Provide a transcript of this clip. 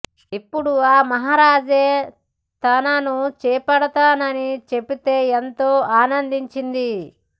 ఇపుడు ఆ మహారాజే తన్ను చేపడుతానని చెప్పితే ఎంతో ఆనందించింది